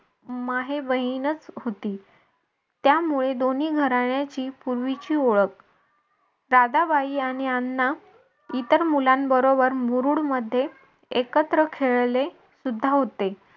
माहे बहिणच होती. त्यामुळे दोन्ही घराण्याची पूर्वीची ओळख राधाबाई आणि अण्णा इतर मुलांबरोबर मुरुड मध्ये एकत्र खेळले सुद्धा होते.